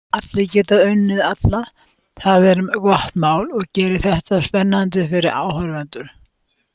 Allir geta unnið alla, það er gott mál og gerir þetta spennandi fyrir áhorfendur.